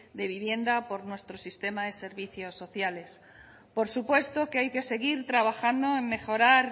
de vivienda o por nuestro sistema de servicios sociales por supuesto que hay que seguir trabajando en mejorar